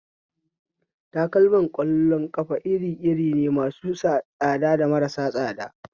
Takalmar ƙwallon ƙafa iri iri ne, masu tsada da marasu tsada